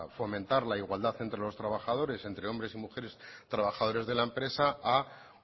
fomentar la igualdad entre los trabajadores entre hombres y mujeres trabajadores de la empresa a